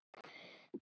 Við vorum góð saman.